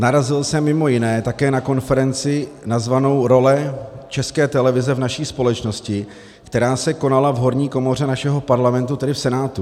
Narazil jsem mimo jiné také na konferenci nazvanou Role České televize v naší společnosti, která se konala v horní komoře našeho Parlamentu, tedy v Senátu.